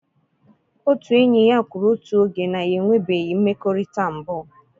Otu enyi ya kwuru otu oge na ya enwebeghị mmekọrịta mbụ